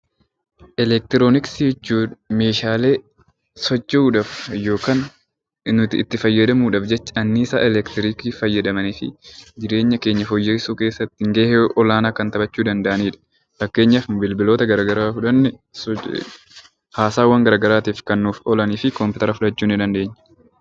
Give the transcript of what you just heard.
Elektirooniksii jechuun meeshaalee socho'uudhaaf yookiin nuti itti fayyadamuudhaaf jecha anniisaa elektiriikii fayyadamanii fi jireenya keenya fooyyessuu keessatti gahee olaanaa kan taphachuu danda'anidha. Fakkeenyaaf bilbiloota garaagaraa yoo fudhanne haasaawwan garaagaraatiif kan oolanidha.